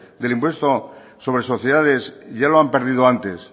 del impuesto sobre sociedades ya lo han perdido antes